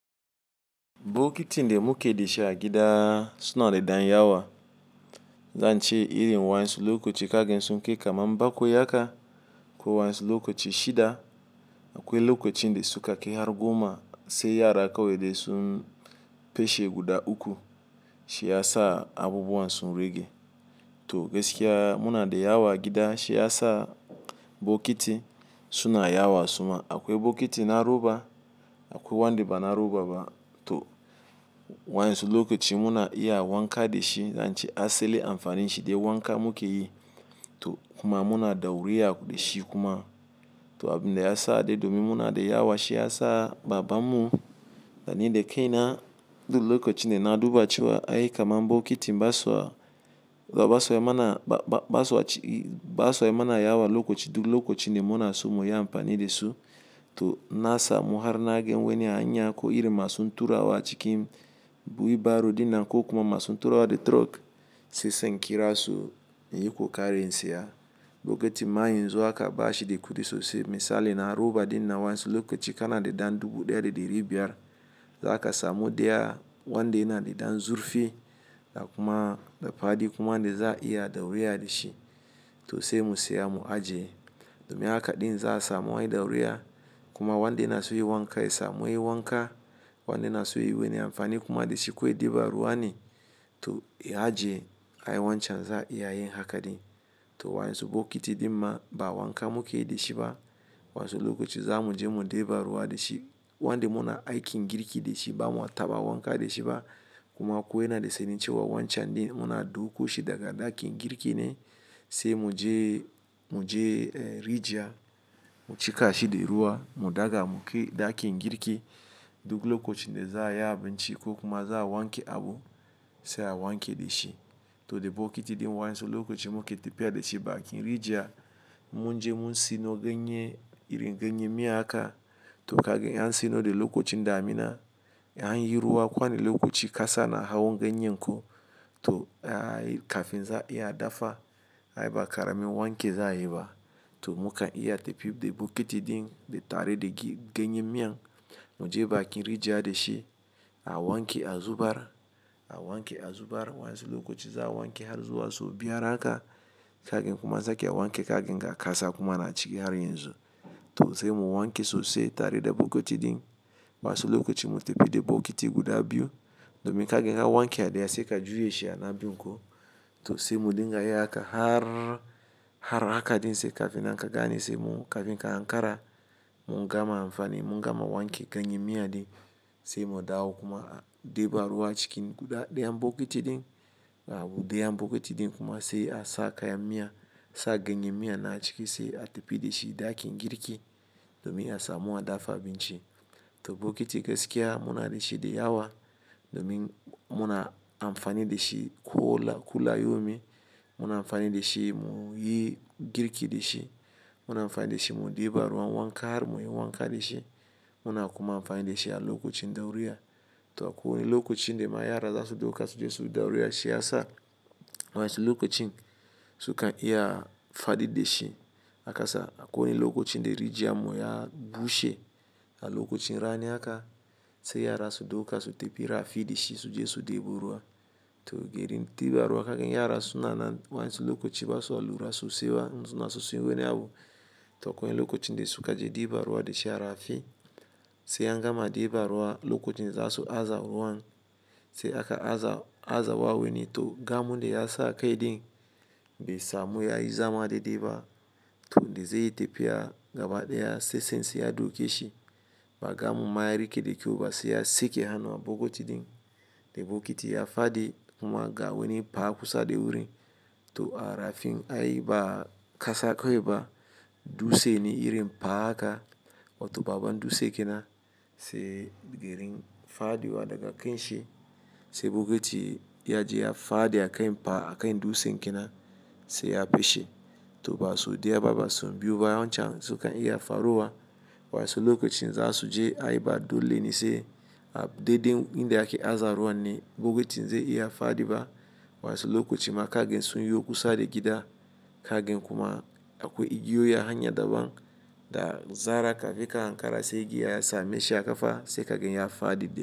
Bokatin da muke da shi a gida, suna da ɗan yawa. Zan ce iri wansu lokoci kagan sun kai kama bakwai haka. Ko wansu lokoci shida. Akwai lokoci nde suka kai har goma sai yara kawai dai sun peshe guda uku. Shi ya sa abubuwan sun rage. To gaskiya muna da yawa gida shi ya sa bokiti suna yawa suma. Akwai bokiti na roba, akwai wande ba na roba ba. To wansu lokoci muna iya wanka da shi zan ce asali amfanin shi dai wanka muke yi. To kuma muna dauriya da shi kuma. To abin da ya sa dai domin muna da yawa shi ya sa baba mu, da ni da kai na duk lokoci da na duba cewa ai kama bokiti ba so, ba so ya mana, ba so ya ci, ba so ya mana yawa lokoci duk lokoci dai muna so mu yi amfani da su. To ina samu har na gan wani a hanya ko irin masun turawa cikin wheelbarrow ɗina ko kuma masun turawa da truck sai sanki rasu in yi kokari in siya. Bokiti ma yanzu haka bashi da kudi sosai misali na roba dina wansu lokoci kana da dan dubu ɗaya da ɗari biyar. Za ka samu daya wanda yana de dan zurfi da kuma da faɗi kuma da za a iya dauriya de shi. To sai mu siya mu ajiye. Domin haka ɗin za a samu wani dauriya kuma wanda yana so yi wanka ya samu yi wanka. Wanda na so yi wani amfani kuma da shi ko ya diba ruwa ne to ya ajiye. Ai wancan za a iya yin haka ɗin. To wansu bokiti ɗin ma ba wanka muke yi de shi ba. Wayansu lokaci za mu je mu diba ruwa dashi, wanda muna ikin girki da shi ba mu taba wanka da shi ba kuma ko yana da sanyi cewa wancan ɗin muna dauko shi daga ɗakin girki ne sai mu je, mu je rijiya mu cikashi da ruwa mu daga mu kai ɗakin girki duk lokacin da za a yi abinci ko kuma za a wanke abu sai a wanke da shi. To de bokiti ɗin wansu lokaci muke tafiya da shi bakin rijiya mun je mun sino ganye, iri ganye miya aka to kagan an sino da lokacin damina. An yi ruwa kowane lokoci kasa na hawan ganye ko, to ai kafin za a iya dafa. Ai ba ƙaramin wanke za yi ba. To muka iya tafiya de bokiti ɗin da tare da ganye miyan mu je bakin rijiya da shi a wanke a zubar, a wanke a zubar wansu lokaci za a wanke har zuwa so biyar haka kagan kuma an sake wanke kagan ga kasa kuma na ciki har yanzu. To sai mu wanke sosai tare da bokati ɗin, wasu lokaci mu tafi da bokati guda biyu domin kagan ka wanke a daya sai ka juya shi ana biyun ku. To sai mu dinga yin haka har, har haka ɗin sai kagan kafe na kagane sai mu ɗinka ankara mu gama amfani, mun gama wanke ganye miya ɗin, sai mu dawo kuma mu diba ruwa cikin guda diyan bokati ɗin kafe diyan bokati ɗin kuma sai a sa kayan miya sa ganye miya na ciki sai a tafi da shi ɗakin girki domin ya samu a dafa abinci. To bokiti gaskiya muna da shi da yawa domin muna amfani da shi kuola, kulla-yomi. Muna amfani da shi mu yi girki da shi. Muna amfani de shi mu de ba ruwa wanka har muyi wanka de shi. Muna kuma amfani de shi a lokacin dauriya. To akwai lokacin da ma yara za su dauka su je su dauriya shi ya sa wansu lokacin su kan iya fadi da shi. A kasa akwai lokacin da rijiya mu ya bushe a lokacin rani haka sai yara su dauka su tafiya rafi da shi su je su debo ruwa. To garin diba ruwa kagan yara su na, na wansu lokaci ba su lura sosai ba in suna so yi wani abu. To akwai lokacin da suka je diba ruwa da shi a rafi sai an gama diba ruwa lokacin za su aza ruwan sai aka aza, aza wa wani to gamo da ya sa kai ɗin bai samu ya yi zama dadai ba to da zai tafiya gaba diya sai tsantsi ya duke shi. Ba gamo ma ya rike da kyau ba sai ya saki hannu bokiti ɗin. Da bokiti ya fadi kuma ga wani pa kusa da wurin to a rafin ai ba kasa kawai ba dutse ne irin pa haka, wato babban dutse kenan, sai garin fadiwa daga kan shi sai bokiti ya je ya fadi a kan pa, a kan dutse kenan sai ya peshe. To ba so diya baba sun biya wancan su kan iya fa ruwa wansu lokacin za su je ayi ba dole ne sai daiɗen inda ake aza ruwan ne bokiti zai iya fadi ba, wansu lokaci ma kagan sun yi kusa da gida kagan kuma akwai igiyoyi a hanya daban da zara ka fi ka hankara sai igiya ya same shi a kafa sai kagan ya fadi da shi.